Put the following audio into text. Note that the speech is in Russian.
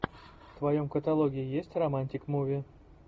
в твоем каталоге есть романтик муви